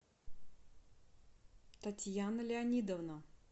татьяна леонидовна